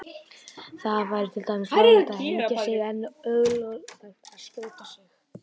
Það væri til dæmis löglegt að hengja sig en ólöglegt að skjóta sig.